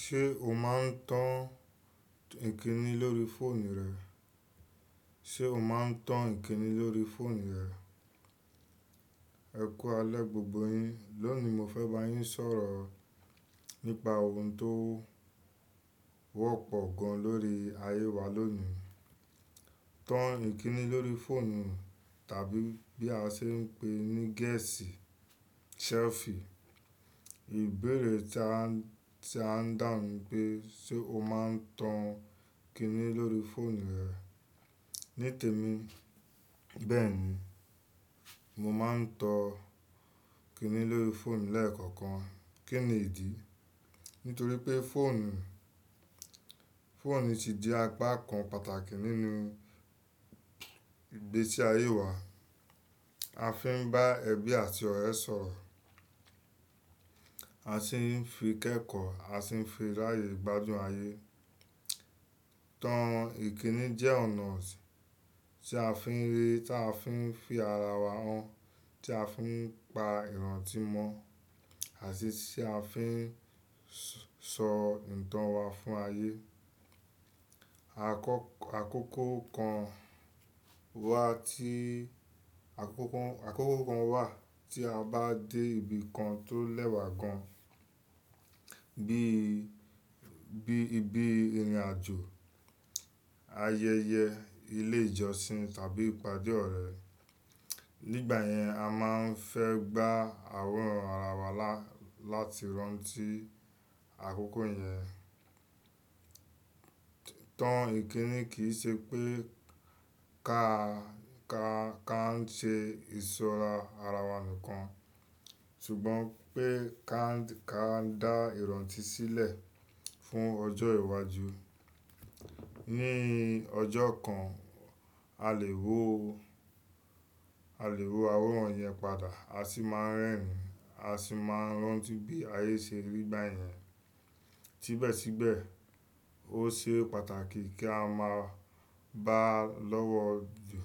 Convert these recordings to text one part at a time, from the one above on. Ṣé o máa ń tan ìkíni lórí fóònù rẹ? Ṣé o máa ń tan ìkíni lórí fóònù rẹ? Ẹ kú alẹ́ gbogbo yin. Lónìí mo fẹ́ bá yín sọ̀rọ̀ nípa ohun tó wọ́pọ̀ gan lọ́rí ayé wa lónìí. Tan ìkíni lórí fóònù tàbí bí a ṣe ń pè é ní gẹ̀ẹ́sì “selfie”. Ìbéèrè tí à ń dá ni pé ṣe o máa ń tan ìkíni lórí fóònù rẹ? Ní tèmi, bẹ́ẹ̀ ni. Mo máa ń tan ìkíni lórí fóònù lẹ́ẹ̀kọ̀kan. Kí ni ìdí? Nítorí pé fóònù, fóònù ti di apá kan pàtàkì nínú ìgbésí ayé wa. A fi ń bá ẹbí àti ọ̀rẹ́ sọ̀rọ̀, a sì ń fi kẹ́kọ̀ọ́, a sì ń fi ráyè gbádùn ayé. Tan ìkíni jẹ́ ọ̀nà tí a fi ń rí, tí a fi ń fi ara wa hàn, tí a fi ń pa ìrántí mọ́ àti tí a fi ń sọ ìtàn wa fún ayé. Àkókò kan wà tí, àkókò kan wà tí a bá dé ibi kan tó lẹ́wà gan, bí, bí ibi ìrìnàjò, ayẹyẹ, ilé ìjọsìn tàbí ìpàdé ọ̀rẹ́. Nígbà yẹn, a máa ń fẹ́ gbá àwòrán ara wa láti rántí àkókò yẹn. Tan ìkíni kì í ṣe pé ká, ká ń ṣe ìsọ́ra ara wa nìkan, ṣùgbọ́n pé ká dá ìrántí sílẹ̀ fún ọjọ́ iwájú. Ni ọjọ́ kan, a lè wo, a lè wo àwòrán yẹn padà a sì máa rẹ́rìn-ín, a sì máa rántí bí ayé ṣe rí nígbà yẹn. Síbẹ̀síbẹ̀, ó ṣe pàtàkì kí a máa bá a lọ́wọ́ jù.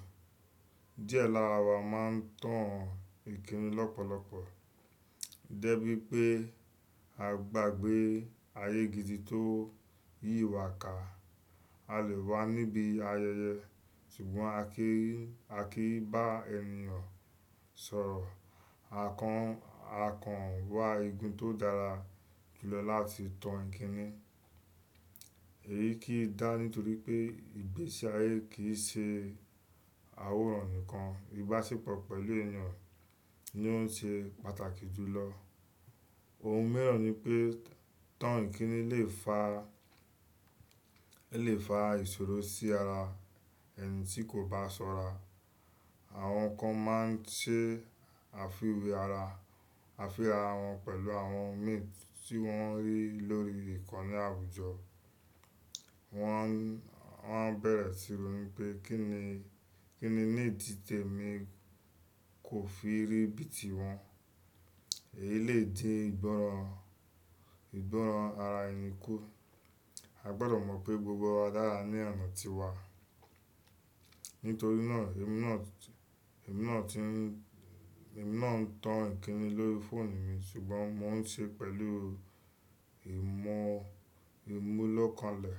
Diẹ lara wa má ń tan ìkíni lọ́pọ̀lọpọ̀. Dẹ́ bí wi pé a gbàgbé ayé gidi tó yí wa ká. A lè wà níbi ayẹyẹ ṣùgbọ́n a kì í, a kì í bá ẹniìyàn sọ̀rọ̀. Àkan, àkan wà igun tó dára jùlọ láti tan ìkíni. Èyí kì í dá nítorí pé ìgbésí ayé kì í ṣe àwòrán nìkan. Ibaṣepọ̀ pẹ̀lú ènìyàn ni ó ń ṣe pàtàkì jùlọ. Ohun mìíràn ni pé tan ìkíni lè fa, lè fa ìṣòro sí ara ẹni tí kò bá sọ́ra. Àwọn kan máa ń ṣe àfiwé ara, àfi ara wọn pẹ̀lú àwọn mii tí wọ́n rí lórí ìkànnì àwùjọ. Wọ́n, wọ́n bẹ̀rẹ̀ sí ro ní pé kí ni, kí ni ìdí tèmi kò fi rí bí i tí wọn. Èyí lè di ìgbọ́ràn, ìgbọ́ràn ara ẹni kú. A gbọdọ̀ mọ̀ pé gbogbo wa dára ní ọ̀nà tiwa. Nítorí náà, èmi náà ti, èmi náà ń tan ìkíni lórí fóònù mi ṣùgbọ́n mo ń ṣe pẹ̀lú ìmọ̀-ìmúlọ́kalẹ̀.